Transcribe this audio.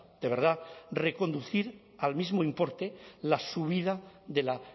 de verdad reconducir al mismo importe la subida de la